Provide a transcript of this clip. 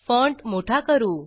font मोठा करू